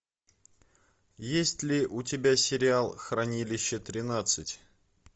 есть ли у тебя сериал хранилище тринадцать